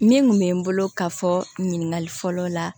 Min kun bɛ n bolo ka fɔ ɲininkali fɔlɔ la